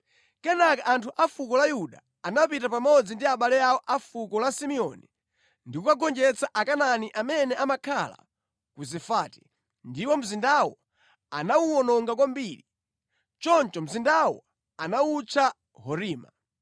Kenaka anthu a fuko la Yuda anapita pamodzi ndi abale awo a fuko la Simeoni ndi kukagonjetsa Akanaani amene amakhala ku Zefati, ndipo mzindawo anawuwononga kwambiri. Choncho mzindawo anawutcha Horima.